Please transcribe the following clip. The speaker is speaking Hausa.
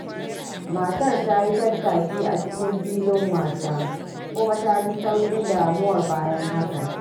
Matar ta yi tattaki a cikin filin wasa kuma ta ji sauƙin damuwa bayan haka.